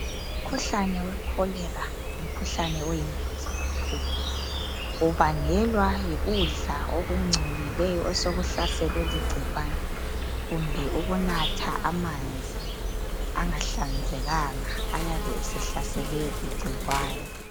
Umkhuhlane we Cholera ngumkhuhlane oyingozi kakhulu. Ubangelwa yikudla okungcolileyo osokuhlaselwe ligcikwane kumbe ukunatha amanzi angahlanzekanga ayabe esehlaselwe ligcikwane.